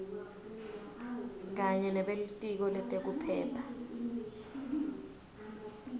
kanye nebelitiko letekuphepha